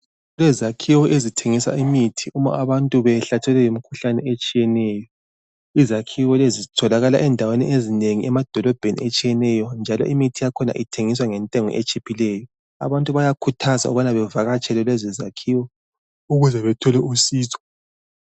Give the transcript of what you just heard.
Kulezakhiwo ezithengisa imithi uba abantu behlatshelwe yimkhuhlane etshiyeneyo. Izakhiwo lezi zitholakala endaweni ezinengi emadolobheni atshiyeneyo. Njalo imithi yakhona ithengiswa ngentengo etshiphileyo. Abantu bayakhuthaza ukuba bavakatshele lezi zakhiwo ukuze bathole usizo.